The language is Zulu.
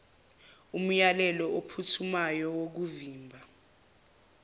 umyalelo ophuthumayo wokuvimba